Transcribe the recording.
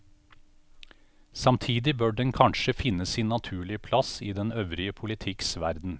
Samtidig bør den kanskje finne sin naturlige plass i den øvrige politikks verden.